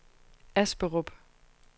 Asperup